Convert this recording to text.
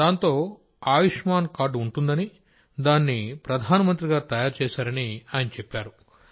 దాంతో ఆయుష్మాన్ కార్డు ఉంటుందని దాన్ని ప్రధానమంత్రి గారు తయారు చేశారని ఆయన చెప్పారు